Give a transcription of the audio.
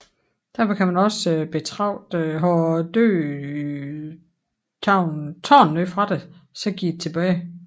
Derfor kan man også betragte Har døden taget noget fra dig så giv det tilbage